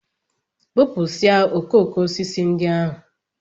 Bụpụsịa okooko osisi ndị ahụ!